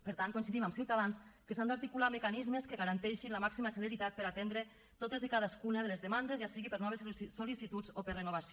per tant coincidim amb ciutadans que s’han d’articular mecanismes que garanteixin la màxima celeritat per atendre totes i cadascuna de les demandes ja sigui per no haver sol·licituds o per renovació